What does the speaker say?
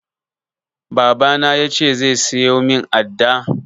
Baba na ya ce zai siyo min adda